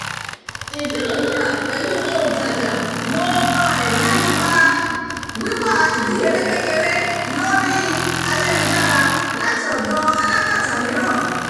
ìdúnadúrà pẹ̀lú òǹtajà mo um mẹnuba wíwà ìdíyelé kékeré lórí ayélujára láti ọ̀dọ̀ alagbata miiran